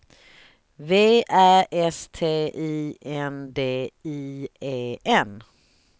V Ä S T I N D I E N